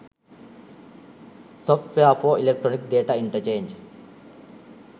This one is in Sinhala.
software for electronic data interchange